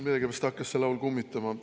Millegipärast hakkas see laul kummitama.